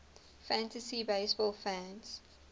fantasy baseball fans